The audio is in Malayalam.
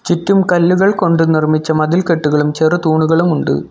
ചുറ്റും കല്ലുകൾ കൊണ്ട് നിർമ്മിച്ച മതിൽക്കെട്ടുകളും ചെറുതൂണുകളുമുണ്ട്.